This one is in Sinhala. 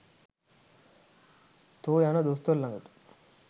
තො යන දොස්තර ලගට